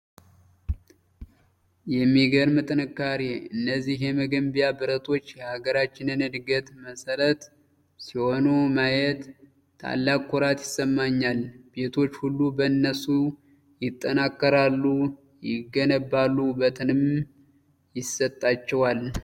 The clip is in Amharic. የሚገርም ጥንካሬ! እነዚህ የመገንቢያ ብረቶች የሀገራችንን ዕድገት መሠረት ሲሆኑ ማየት ታላቅ ኩራት ይሰማኛል! ቤቶች ሁሉ በእነሱ ይጠናከራሉ ይገነባሉ ወበትንም ይሰጣቸዋል!